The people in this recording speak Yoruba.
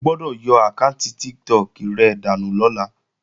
O gbọ́dọ̀ yọ àkáànti Tiktok rẹ dànù lọ́la!